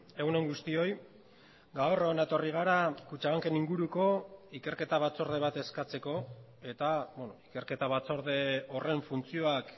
egun on guztioi gaur hona etorri gara kutxabanken inguruko ikerketa batzorde bat eskatzeko eta ikerketa batzorde horren funtzioak